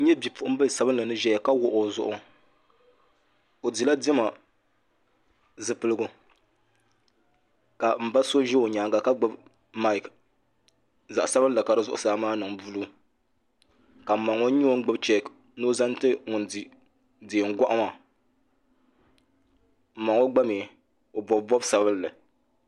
N nyɛ bipuɣunbili sabinli ni ʒɛya ka wuɣi o zuɣu o dila diɛma zipiligu ka n ba so ʒɛ o nyaanga ka gbubi maik zaɣ sabinli ka di zuɣusaa maa niŋ buluu ka n ma ŋo nyɛ ŋun gbuni cheek ni o zaŋti ŋun di Diɛm goɣu maa n ma ŋo mii o bob bobi sabinli